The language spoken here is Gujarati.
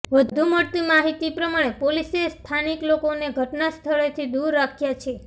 વધુ મળતી માહિતી પ્રમાણે પોલીસે સ્થાનિક લોકોને ઘટના સ્થળેથી દૂર રાખ્યા છે